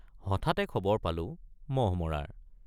হঠাতে খবৰ পালোঁ মহ থকাৰ।